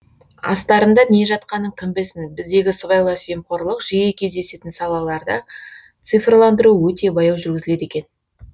астарында не жатқанын кім білсін біздегі сыбайлас жемқорлық жиі кездесетін салаларда цифрландыру өте баяу жүргізіледі екен